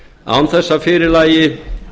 án þess að fyrir lægi